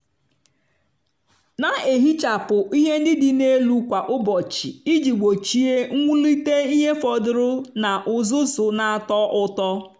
na-ehichapụ ihe ndị dị n'elu kwa ụbọchị iji gbochie mwulite ihe fọdụrụ na uzuzu na-atọ ụtọ.